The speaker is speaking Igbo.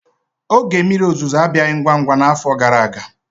Oge mmiri ozuzo abịaghị ngwa ngwa n'afọ gara aga.